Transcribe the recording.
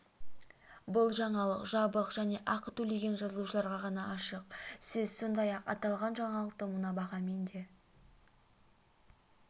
бұл жаңалық жабық және ақы төлеген жазылушыларға ғана ашық сіз сондай-ақ аталған жаңалықты мына бағамен де